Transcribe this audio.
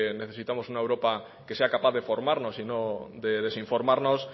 necesitamos una europa que sea capaz de formarnos y no de desinformarnos